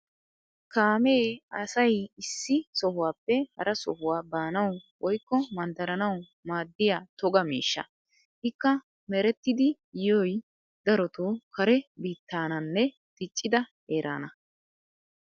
Kaamee asay issi sohuwappe hara sohuwa baanawu woykko manddaranawu maaddiya toga miishsha. Ikka merettidi yiyoy darotoo kare biittaananne diccida heeraana.